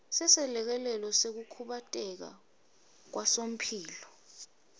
seselekelelo sekukhubateka kwasomphelo